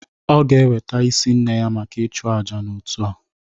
Ọ ga-eweta isi nne ya maka ịchụ àjà n'otu a